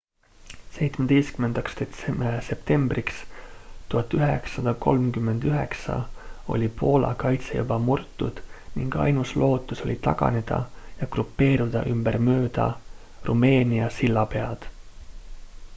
17 septembriks 1939 oli poola kaitse juba murtud ning ainus lootus oli taganeda ja grupeeruda ümber mööda rumeenia sillapead